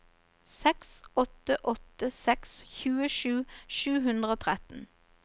seks åtte åtte seks tjuesju sju hundre og tretten